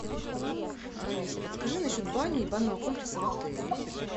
алиса подскажи насчет бани и банного комплекса в отеле